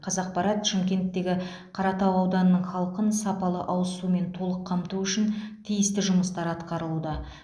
қазақпарат шымкенттегі қаратау ауданының халқын сапалы ауыз сумен толық қамту үшін тиісті жұмыстар атқарылуда